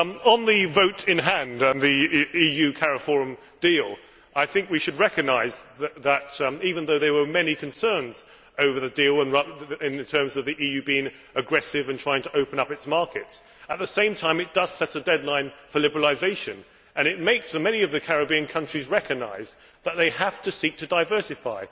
On the vote in hand and the EU CALIFORUM deal, I think we should recognise that even though there were many concerns over the deal, in terms of the EU being aggressive in trying to open up its markets, at the same time it does set a deadline for liberalisation and it makes many of the Caribbean countries recognise that they have to seek to diversify.